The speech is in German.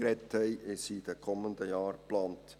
Sie sind in den kommenden Jahren geplant.